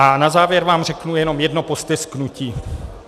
A na závěr vám řeknu jenom jedno postesknutí.